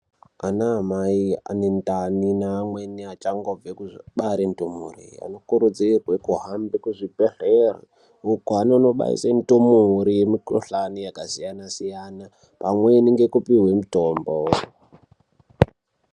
Ana mai ane ndani ne amweni achangobve kubare ndumure ano kurudzirwe kuhambe ku zvibhedhlera uko anonono baise ndumure mu kuhlani yaka siyana siyana pamweni ngeku puhwe mutombo.